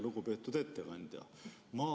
Lugupeetud ettekandja!